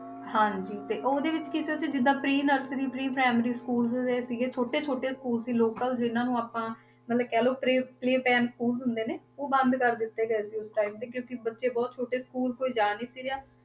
ਹਾਂਜੀ ਤੇ ਉਹਦੇ ਵਿੱਚ ਕੀ ਸੀ ਜਿੱਦਾਂ pre nursery pre primary schools ਦੇ ਸੀਗੇ ਛੋਟੇ ਛੋਟੇ school ਸੀ local ਜਿੰਨਾਂ ਨੂੰ ਆਪਾਂ ਮਤਲਬ ਕਹਿ ਲਓ play play time school ਹੁੰਦੇ ਨੇ ਉਹ ਬੰਦ ਕਰ ਦਿੱਤੇ ਗਏ ਸੀ ਉਸ time ਕਿਉਂਕਿ ਬੱਚੇ ਬਹੁਤ ਛੋਟੇ school ਕੋਈ ਜਾ ਨੀ ਸੀ ਰਿਹਾ